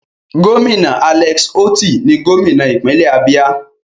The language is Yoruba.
Gómìnà Alex Otti ni gómìnà ìpínlẹ̀ Abia.